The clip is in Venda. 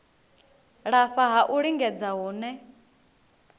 lafha ha u lingedza hune